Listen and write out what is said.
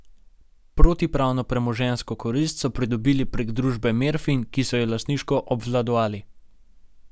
Protipravno premoženjsko korist so pridobili prek družbe Merfin, ki so jo lastniško obvladovali.